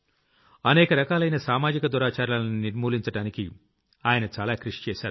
అనేక రకాలైన సామాజిక దురాచారాల్ని నిర్మూలించడానికి ఆయన చాలా కృషి చేశారు